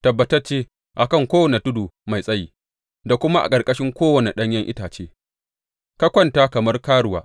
Tabbatacce, a kan kowane tudu mai tsayi da kuma a ƙarƙashin kowane ɗanyen itace ka kwanta kamar karuwa.